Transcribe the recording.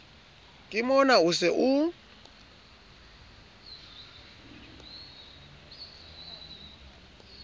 ke mona o se o